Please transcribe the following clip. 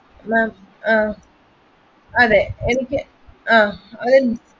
ma'am അതെ എനിക്ക്